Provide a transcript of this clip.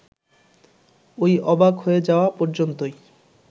ওই অবাক হয়ে যাওয়া পর্যন্তই